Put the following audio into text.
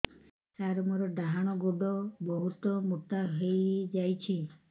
ସାର ମୋର ଡାହାଣ ଗୋଡୋ ବହୁତ ମୋଟା ହେଇଯାଇଛି